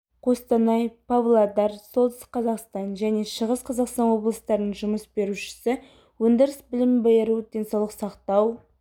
қостанай павлодар солтүстік қазақстан және шығыс қазақстан облыстарының жұмыс берушісі өндіріс білім беру денсаулық сақтау